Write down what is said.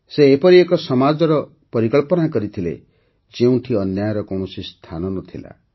ସେ ଏପରି ଏକ ସମାଜର ପରିକଳ୍ପନା କରିଥିଲେ ଯେଉଁଠି ଅନ୍ୟାୟର କୌଣସି ସ୍ଥାନ ନ ଥିଲା